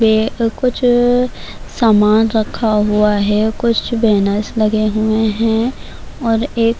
یہ کچھ سامان رکھا ہوا ہے اور کچھ بینر لگے ہوئے ہیں- اور ایک--